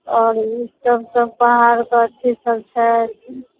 और ई सब सब पार करछी सब छै।